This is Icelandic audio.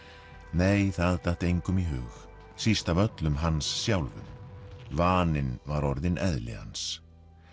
nei það datt engum í hug síst af öllum Hans sjálfum vaninn var orðinn eðli hans